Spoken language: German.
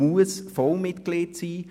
Ich muss Vollmitglied sein.